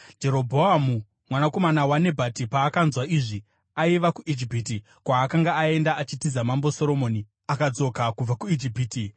Jerobhoamu mwanakomana waNebhati paakanzwa izvi (aiva kuIjipiti, kwaakanga aenda achitiza Mambo Soromoni), akadzoka kubva kuIjipiti.